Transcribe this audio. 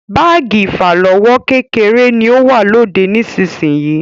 Báàgì ìfàlọ́wọ́ kékeré ni ó wà lóde nísisìyìí.